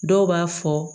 Dɔw b'a fɔ